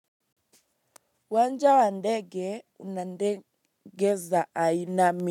Uwanja wa ndege una ndege za aina.